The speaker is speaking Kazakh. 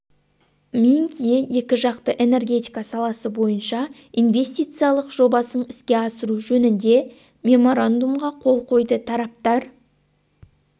минг ие екіжақты энергетика саласы бойынша инвестициялық жобасын іске асыру жөнінде меморандумға қол қойды тараптар